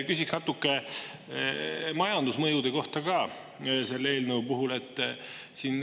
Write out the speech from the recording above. Küsiks selle eelnõu puhul ka natuke majandusmõjude kohta.